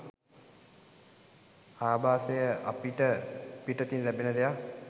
ආභාසය අපට පිටතින් ලැබෙන දෙයක්